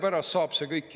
Lugupeetud saadikud!